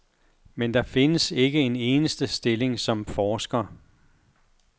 Men der findes ikke en eneste stilling som forsker.